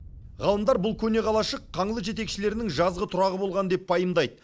ғалымдар бұл көне қалашық қаңлы жетекшілерінің жазғы тұрағы болған деп пайымдайды